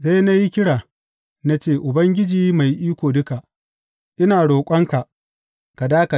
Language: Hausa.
Sai na yi kira, na ce, Ubangiji Mai Iko Duka, ina roƙonka ka dakata!